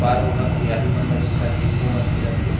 वह हरियाली मन ला दिखत थे घूमत फिरत थे।